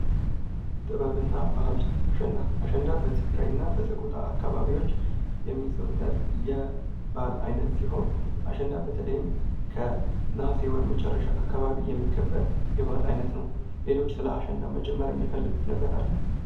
ጥበብና ባህል ፦አሸንዳ ፦አሸንዳ በትግራይ እና በሰቆጣ አካባቢወች የሚዘወተር የባህል አይነት ሲሆን አሸንዳ በተለይም ከነሐሴ ወር መጨረሻ አካባቢ የሚከበር የበአል አይነት ነው። ሌሎች ስለ አሸንዳ የሚጨምሩት ነገር አለ?